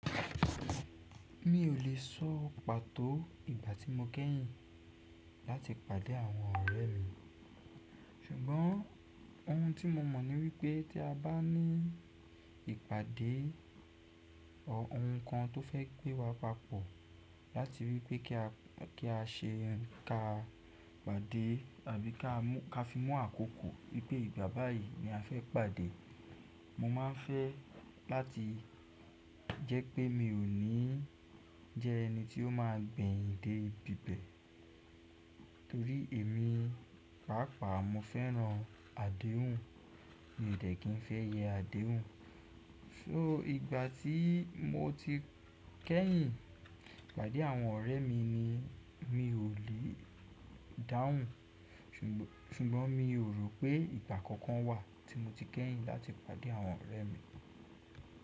Mi ò lè sọ pàtó ìgbà tí mo kẹ́yìn láti pàdé àwọn ọ̀rẹ́ mi, ṣùgbọ́n ohun tí mo mọ̀ ní wípé tí a bá ní ìpàdé ohun kan tó fẹ́ gbé wa papọ̀ láti ri wípé kí á ṣe ń ka pàdé àbí ká fi mú àkókò wípé ìgbà báyìí ni a fẹ́ pàdé. Mo máa ń fẹ́ láti jẹ́ pé mi ò ní jẹ́ ẹni tí ó máa gbẹyin dé íbi ibẹ̀ torí èmi pàápàá mo fẹ́ràn àdéhùn mi ò dẹ̀ kí n fẹ́ yẹ àdéhùn. So ìgbà tí mo ti kẹ́yìn pàdé àwọn ọ̀rẹ́ mi ni mi ò lè dáhùn, ṣùgbọ́n mi ò rò pé ìgbà kankan wà tí mo ti kẹ́yìn láti pàdé àwọn ọ̀rẹ́ mi.